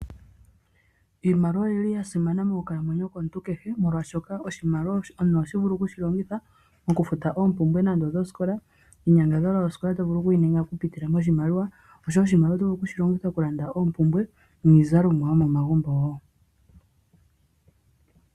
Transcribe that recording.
Iimaliwa oya simana monkalamwenyo yomuntu kehe oshoka oha vulu okufuta osikola nenge iinyangadhalwa yinasha noshimaliwa yosikola noshowo iizalomwa yomegumbo.